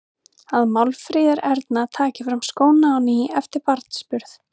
Að Málfríður Erna taki fram skóna á ný eftir barnsburð.